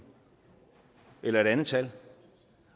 eller et andet tal